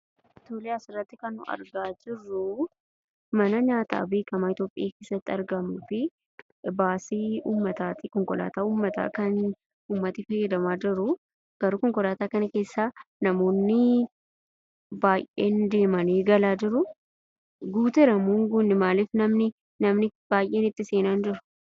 Tole asirratti kan nuyi argaa jirru, mana nyaata beekama Ithiyoopiyaa keessatti argamuu fi baasii uummata ykn ,konkolaata uummata kan, uummanni fayyadamaa jiru, garuu konkolaata kana keessa namoonni deemani galaa jiru. Guuteeramo hin gunne? Maaliif namni baay'een itti seena hin jiru